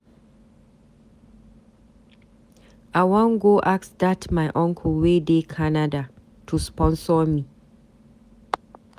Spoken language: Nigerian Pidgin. I wan go ask dat my uncle wey dey Canada to sponsor me.